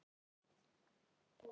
Ekki byrjaði það vel!